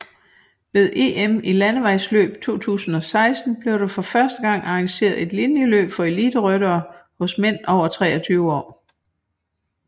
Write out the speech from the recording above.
Ved EM i landevejsløb 2016 blev der for første gang arrangeret et linjeløb for eliteryttere hos mænd over 23 år